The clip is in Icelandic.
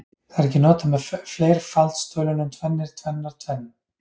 Það er ekki notað með fleirfaldstölunum tvennir, tvennar, tvenn.